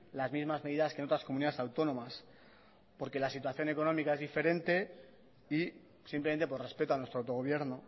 las mismas medidas que en otras comunidades autónomas porque la situación económica es diferente y simplemente por respeto a nuestro autogobierno